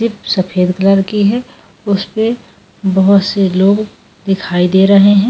सफेद कलर की है उस पे बहुत से लोग दिखाई दे रहे हैं।